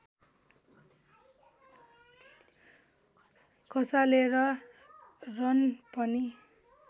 खसालेर run पनि